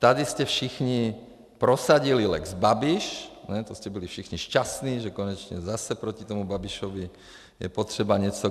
Tady jste všichni prosadili lex Babiš, to jste byli všichni šťastní, že konečně zase proti tomu Babišovi je potřeba něco.